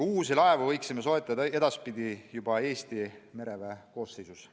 Uusi laevu võiksime soetada edaspidi juba Eesti mereväe koosseisu.